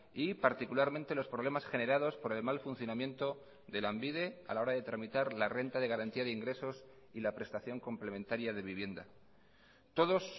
y particularmente los problemas generados por el mal funcionamiento de lanbide a la hora de tramitar la renta de garantía de ingresos y la prestación complementaria de vivienda todos